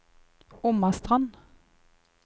Omastrand